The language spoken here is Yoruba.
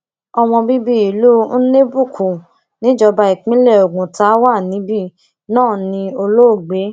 ọmọ bíbí ìlú nnebukwu níjọba ìbílẹ oguta wà níbí náà ní olóògbé